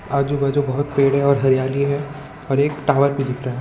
आजू बाजू बहुत पेड़ है और हरियाली है और एक टॉवर भी दिख रहा है।